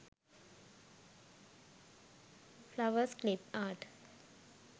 flowers clip art